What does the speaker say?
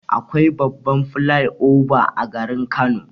Akwai babban flai oba a garin Kano.